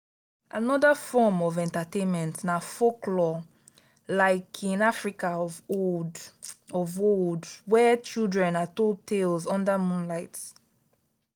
another form of entertainment na forklore; like in africa of old of old where children are told tales under moonlight.